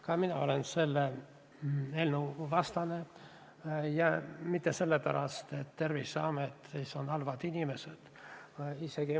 Ka mina olen selle eelnõu vastane, aga mitte sellepärast, et Terviseametis oleks halvad inimesed.